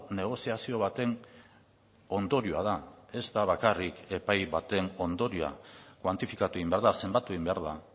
negoziazio baten ondorioa da ez da bakarrik epai baten ondorioa kuantifikatu egin behar da zenbatu egin behar da